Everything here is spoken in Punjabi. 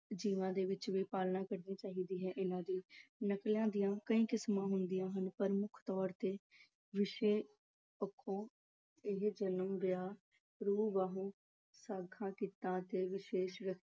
ਜੀਵਨ ਦੇ ਵਿੱਚ ਵੀ ਪਾਲਣਾ ਕਰਨੀ ਚਾਹੀਦੀ ਹੈ ਇਹਨਾਂ ਦੀ। ਨਕਲਾਂ ਦੀਆਂ ਕਈ ਕਿਸਮਾਂ ਹੁੰਦੀਆਂ ਹਨ, ਪਰ ਮੁੱਖ ਤੌਰ ਤੇ ਵਿਸ਼ੇ ਪੱਖੋਂ ਇਹ ਜਨਮ, ਵਿਆਹ, ਰੂ-ਬਹੂ ਸਾਂਗਾਂ, ਕਿੱਤਿਆਂ ਅਤੇ ਵਿਸ਼ੇਸ਼ ਵਿਅਕਤੀਆਂ